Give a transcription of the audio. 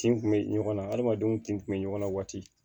Tin kun be ɲɔgɔn na hadamadenw tin tun bɛ ɲɔgɔn na waati